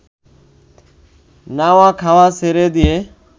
নাওয়া-খাওয়া ছেড়ে দিয়ে